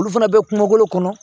Olu fana bɛ kungolo kɔnɔ